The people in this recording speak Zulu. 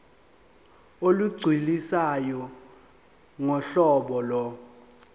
olugculisayo ngohlobo lo